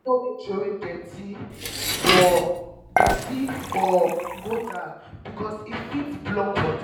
we no dey troway dirty for dirty for gutter because e fit block water.